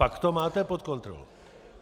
Pak to máte pod kontrolou.